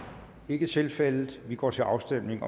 ikke tilfældet vi går til afstemning